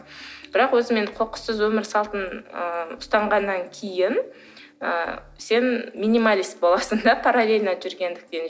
бірақ өзім енді қоқыссыз өмір салтын ы ұстанғаннан кейін ы сен минималист боласың да параллельно жүргендіктен